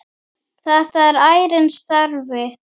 Þetta var ærinn starfi.